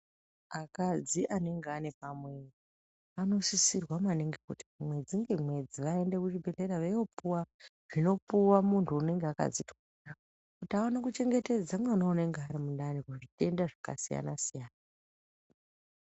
Akadzi anenge ane pamuwiri anosisir2a maningi kuti mwedzi nemwedzi aende kuzvibhedhlera inopuwa zvinopuhwa munhu unenge wakadzitwara kuti aone kuchemgetedze mwana unenge uri mundani kuzvitenda zvakasiyana siyana.